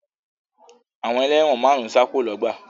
Àwọn ẹlẹ́wọ̀n márùn-ún sá kúrò lọ́gbà